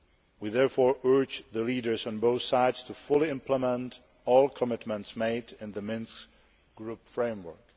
We therefore urge the leaders on both sides to fully implement all commitments made in the Minsk Group framework.